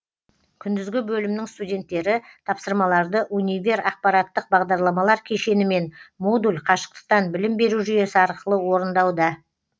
күндізгі бөлімнің студенттері тапсырмаларды универ ақпараттық бағдарламалар кешені мен модуль қашықтықтан білім беру жүйесі арқылы орындауда